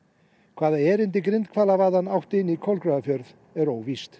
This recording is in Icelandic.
hvaða erindi átti inn Kolgrafafjörð er óvíst